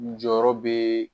Jɔyɔrɔ bɛ